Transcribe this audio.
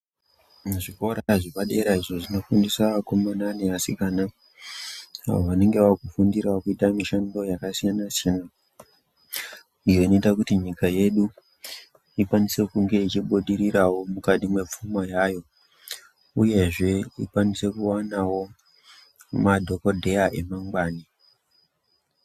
Zvikora zvepadera izvo zvinofundisa vakomana neanasikana avo vanenge vaakufundirawo kuita mishando yakasiyana-siyana iyo inoita kuti nyika yedu ikwanise kunge ichiibudirirawo mukati mwepfuma yayo. Uyezve ikwanise kuwanawo madhokodheya emangwana